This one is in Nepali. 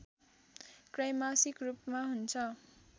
त्रैमासिक रूपमा हुन्छ